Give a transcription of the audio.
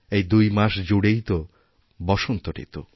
এই দুই মাস জুড়েই তো বসন্ত ঋতু